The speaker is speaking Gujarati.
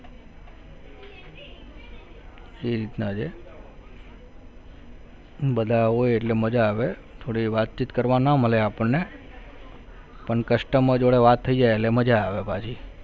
એ રીતના છે બધા હોય એટલે મજા આવે થોડી વાતચીત કરવા ના મલે આપણને પણ customer જોડે વાત થઈ જાય એટલે મજા આવે પાછી